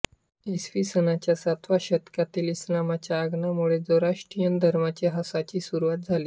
इसवीसनाच्या सातव्या शतकातील इस्लामच्या आगमनामुळे झोराष्ट्रियन धर्माच्या ऱ्हासाची सुरुवात झाली